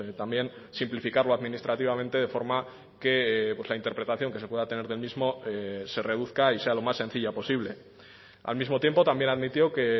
también simplificarlo administrativamente de forma que la interpretación que se pueda tener del mismo se reduzca y sea lo más sencilla posible al mismo tiempo también admitió que